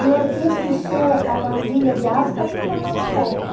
E eu tinha que encher a vasilha de água para a minha irmã lavar a roupa.